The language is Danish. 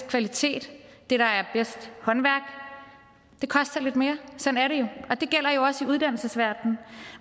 kvalitet det der er bedst håndværk koster lidt mere sådan er det gælder også i uddannelsesverdenen